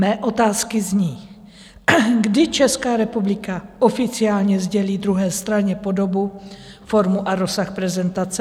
Mé otázky zní: Kdy Česká republika oficiálně sdělí druhé straně podobu, formu a rozsah prezentace?